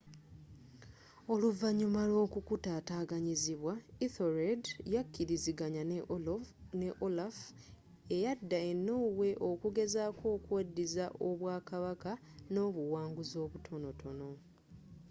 oluvanyuma lw'okkukutataganyizibwa ethelred yakilizanganya ne olaf eyadda e norway okugezzako okweddiza obwa kabaka n'obuwanguzzi obutonotono